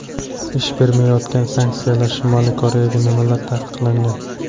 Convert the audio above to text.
Ish bermayotgan sanksiyalar: Shimoliy Koreyaga nimalar taqiqlangan?.